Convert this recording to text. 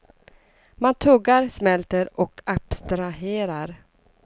Man tuggar, smälter och abstraherar.